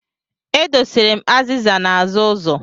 E dosara m azịza n'azụ ụzọ.